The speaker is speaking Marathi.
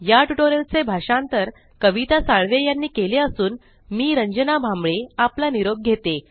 या टयूटोरियल चे भाषांतर कविता साळवे यांनी केलेले असून मी रंजना भांबळे आपला निरोप घेते